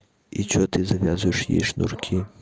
и что ты завязываешь ей шнурки